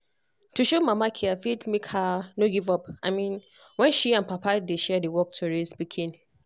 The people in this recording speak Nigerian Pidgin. to show mama care fit make her no give up i mean when she and papa dey share the work to raise pikin.